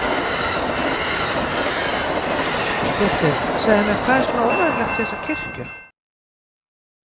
Pétur, segðu mér, hvað er svona óvenjulegt við þessa kirkju?